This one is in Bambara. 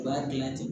U b'a dilan ten